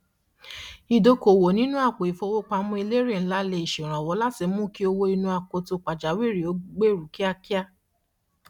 ìdókoòwò nínú apo ìfowópamọ elérè ǹlá lè ṣe ìrànwọ láti múkí owó inú akoto pàjáwìri ó gbèru kíákíá